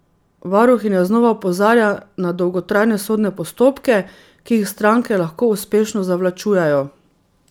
Varuhinja znova opozarja na dolgotrajne sodne postopke, ki jih stranke lahko uspešno zavlačujejo.